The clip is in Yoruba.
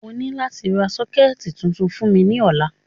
O ni lati ra soketi tuntun fun mi ni ọla.